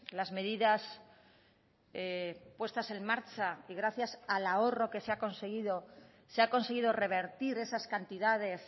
las medidas puestas en marcha y gracias al ahorro que se ha conseguido se ha conseguido revertir esas cantidades